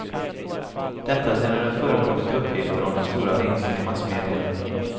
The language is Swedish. Detta sedan det förekommit uppgifter om den stora vinsten i massmedierna.